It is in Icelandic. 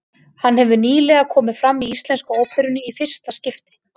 Hann hefur nýlega komið fram í Íslensku óperunni í fyrsta skipti.